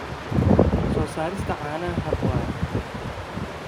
soo saarista caanaha hab waara.